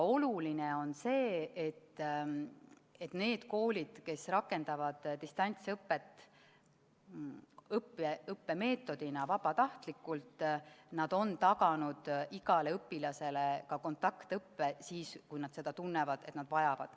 Oluline on see, et need koolid, kes rakendavad distantsõpet vabatahtlikult, on taganud igale õpilasele ka kontaktõppe võimaluse, kui õpilased tunnevad, et nad seda vajavad.